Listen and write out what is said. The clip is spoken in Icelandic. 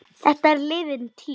Þetta er liðin tíð.